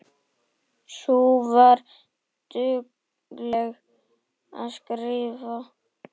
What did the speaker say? Sú var dugleg að skrifa.